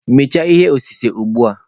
Mechaa ihe osise ugbua.